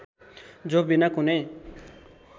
जो बिना कुनै